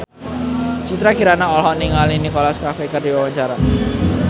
Citra Kirana olohok ningali Nicholas Cafe keur diwawancara